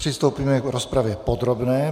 Přistoupíme k rozpravě podrobné.